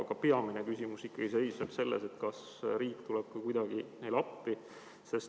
Aga peamine küsimus seisneb ikkagi selles, kas riik tuleb ka kuidagi neile appi.